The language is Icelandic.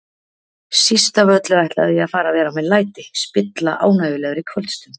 Síst af öllu ætlaði ég að fara að vera með læti, spilla ánægjulegri kvöldstund.